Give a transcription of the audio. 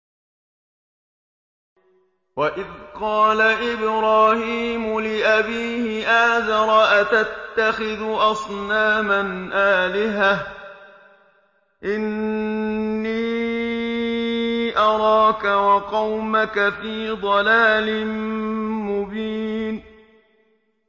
۞ وَإِذْ قَالَ إِبْرَاهِيمُ لِأَبِيهِ آزَرَ أَتَتَّخِذُ أَصْنَامًا آلِهَةً ۖ إِنِّي أَرَاكَ وَقَوْمَكَ فِي ضَلَالٍ مُّبِينٍ